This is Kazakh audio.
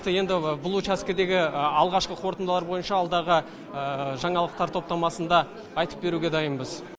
енді бұл учаскедегі алғашқы қорытындылар бойынша алдағы жаңалықтар топтамасында айтып беруге дайынбыз